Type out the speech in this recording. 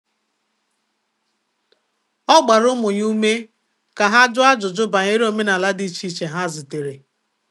Ọ gbara ụmụ ya ume ka ha jụọ ajụjụ banyere omenala dị iche iche ha zutere.